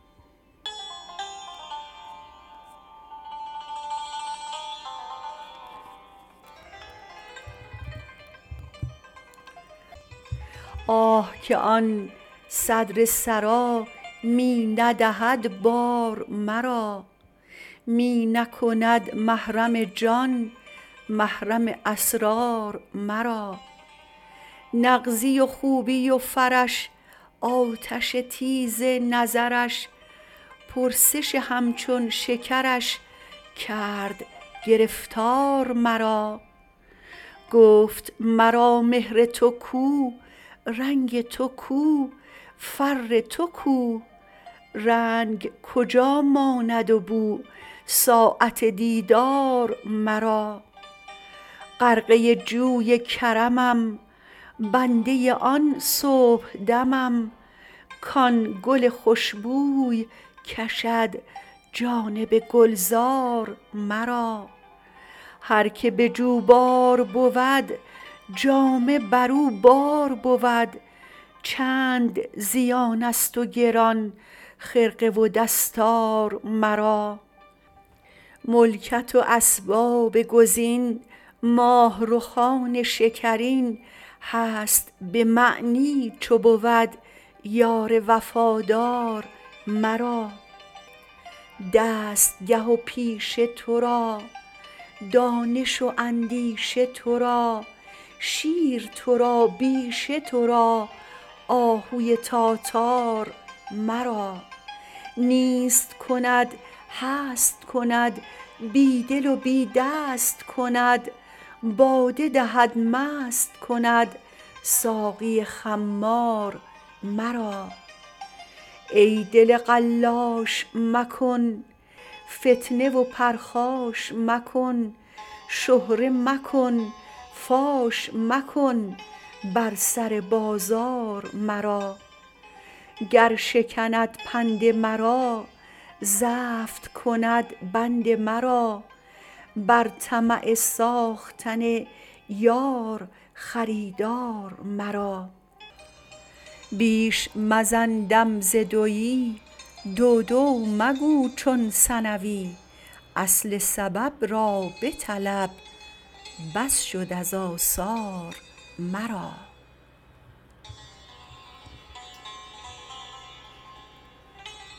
آه که آن صدر سرا می ندهد بار مرا می نکند محرم جان محرم اسرار مرا نغزی و خوبی و فرش آتش تیز نظرش پرسش همچون شکرش کرد گرفتار مرا گفت مرا مهر تو کو رنگ تو کو فر تو کو رنگ کجا ماند و بو ساعت دیدار مرا غرقه جوی کرمم بنده آن صبحدمم کان گل خوش بوی کشد جانب گلزار مرا هر که به جوبار بود جامه بر او بار بود چند زیانست و گران خرقه و دستار مرا ملکت و اسباب کز این ماه رخان شکرین هست به معنی چو بود یار وفادار مرا دستگه و پیشه تو را دانش و اندیشه تو را شیر تو را بیشه تو را آهوی تاتار مرا نیست کند هست کند بی دل و بی دست کند باده دهد مست کند ساقی خمار مرا ای دل قلاش مکن فتنه و پرخاش مکن شهره مکن فاش مکن بر سر بازار مرا گر شکند پند مرا زفت کند بند مرا بر طمع ساختن یار خریدار مرا بیش مزن دم ز دوی دو دو مگو چون ثنوی اصل سبب را بطلب بس شد از آثار مرا